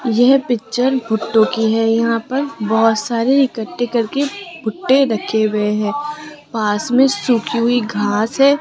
यह पिक्चर भुट्टो की है यहां पर बहुत सारे इकट्ठे करके भुट्टे रखे हुए हैं पास में सूखी हुई घास है।